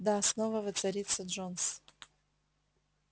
да снова воцарится джонс